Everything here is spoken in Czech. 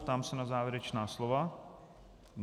Ptám se na závěrečná slova.